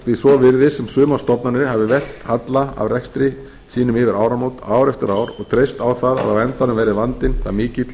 því svo virðist sem sumar stofnanir hafi velt halla af rekstri sínum yfir áramót ár eftir ár og treyst á það að á endanum verði vandinn það mikill